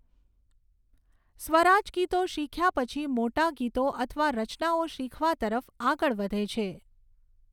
સ્વરાજ ગીતો શીખ્યા પછી મોટા ગીતો અથવા રચનાઓ શીખવા તરફ આગળ વધે છે.